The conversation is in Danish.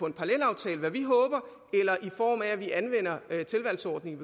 en parallelaftale hvad vi håber eller i form af at vi anvender tilvalgsordningen